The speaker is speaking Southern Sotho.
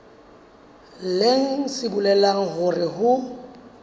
leng se bolelang hore ho